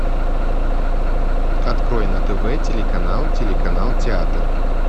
открой на тв телеканал телеканал театр